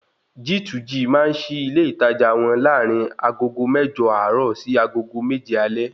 G2G máa ń sí ilé ìtajà wọn larin agogo mẹ́jọ àárọ̀ sí agogo méje alé